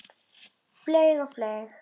Flaug og flaug.